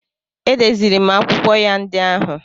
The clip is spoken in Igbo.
Edeziri m akwụkwọ ya ndị ahụ.